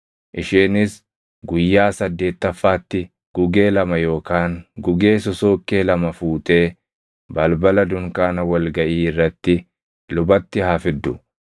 Isheenis guyyaa saddeettaffaatti gugee lama yookaan gugee sosookkee lama fuutee, balbala dunkaana wal gaʼii irratti lubatti haa fiddu.